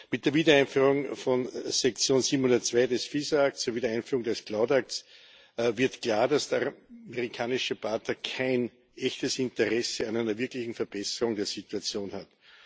Mit der Wiedereinführung von Section 702 des FISA Acts sowie der Einführung des CLOUD Acts wird klar, dass der amerikanische Partner kein echtes Interesse an einer wirklichen Verbesserung der Situation hat.